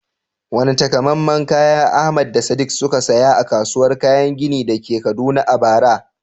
Wane takamaiman kaya Ahmad da Sadiq suka saya a kasuwar kayan gini da ke Kaduna a bara?